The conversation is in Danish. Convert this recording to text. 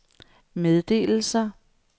meddelelser